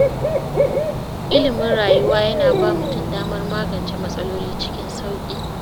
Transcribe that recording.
Ilimin rayuwa yana ba mutum damar magance matsaloli cikin sauƙi.